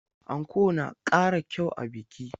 Anko na ƙara kyau ga biki.